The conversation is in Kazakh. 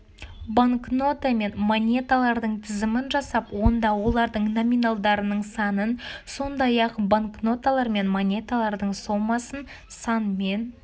банкнота мен монеталардың тізімін жасап онда олардың номиналдарының санын сондай-ақ банкноталар мен монеталардың сомасын санмен